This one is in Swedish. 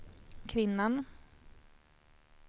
kvinnan